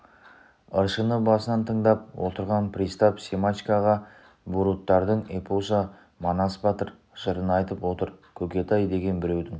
ыршыны басынан тыңдап отырған пристав семашкоға буруттардың эпосы манас батыр жырын айтып отыр көкетай деген біреудің